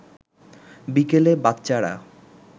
বিকেলে বাচ্চারা